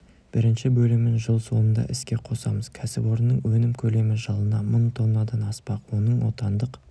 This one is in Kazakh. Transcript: бірінші бөлімін жыл соңында іске қосамыз кәсіпорынның өнім көлемі жылына мың тоннадан аспақ оның отандық